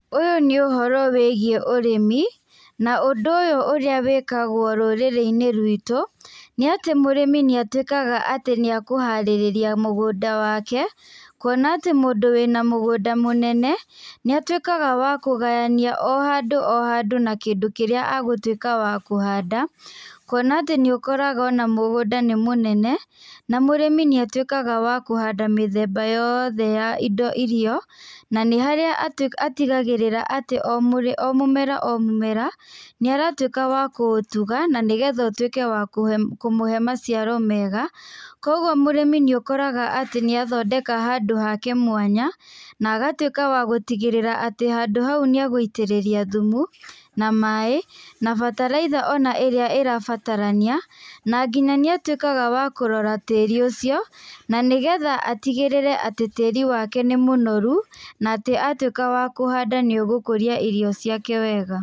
Ũyũ nĩ ũhoro wĩgiĩ ũrĩmi na ũndũ ũyũ ũrĩa wĩkagwo rũrĩrĩ-inĩ ruitũ nĩ atĩ mũrĩmi nĩatuĩkaga atĩ nĩekũharĩrĩria mũgũnda wake, kũona atĩ mũndũ wĩna mũgũnda mũnene, nĩ atuĩkaga wa kũgayania o handũ o handũ na kĩndũ kĩrĩa agũtuĩka wa kũhanda kuona atĩ nĩũkoraga mũgũnda nĩ mũnene na mũrĩmi nĩatuĩkaga wa kũhanda mĩthemba yothe ya irio na nĩ harĩa atigagĩrĩra atĩ o mũmera o mũmera nĩ aratuĩka wa kũũtuga na nĩgetha ũtuĩke wa kũmũhe maciaro mega, kwoguo mũrĩmi nĩũkoraga atĩ nĩarathondeka handũ hake ha mwanya na agatuĩka wa gũtigĩrĩra atĩ handũ hau nĩegũitĩrĩria thumu na maĩ, na bataraitha ona ĩrĩa ĩrabatarania na nginya nĩatuĩkaga wa kũrora tĩri ũcio na nĩgetha atigĩrĩre atĩ tĩri wake nĩ mũnoru na atuĩka wa kũhanda nĩũgũkũria irio ciake wega.